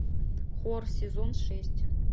хор сезон шесть